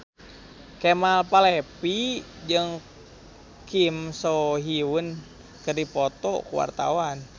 Kemal Palevi jeung Kim So Hyun keur dipoto ku wartawan